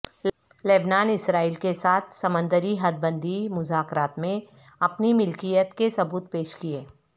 لبنان اسرائیل کے ساتھ سمندری حد بندی مذاکرات میں اپنی ملکیت کے ثبوت پیش کیے